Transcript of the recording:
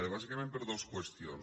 bàsicament per dues qüestions